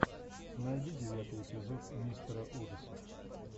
найди девятый эпизод мистера ужасов